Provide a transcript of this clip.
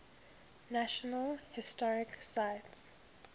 national historic site